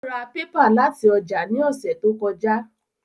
Ó ra pépà láti ọjà ní ọ̀sẹ̀ tó kọjá